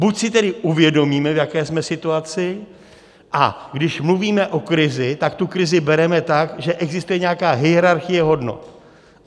Buď si tedy uvědomíme, v jaké jsme situaci, a když mluvíme o krizi, tak tu krizi bereme tak, že existuje nějaká hierarchie hodnot.